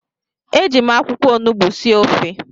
Eji m akwụkwọ onugbu sie ofe